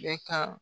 Bɛ ka